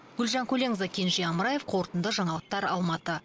гүлжан көленқызы кенже амраев қорытынды жаңалықтар алматы